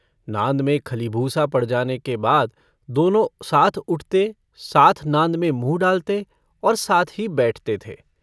नाँद में खलीभूसा पड़ जाने के बाद दोनों साथ उठते साथ नाँद में मुँह डालते और साथ ही बैठते थे।